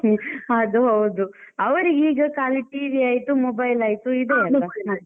ಹ್ಮ್ ಅದು ಹೌದು. ಅವರಿಗೆ ಈಗ ಖಾಲಿ TV ಆಯ್ತು mobile ಆಯ್ತು ಇದೆಯೆಲ್ಲ.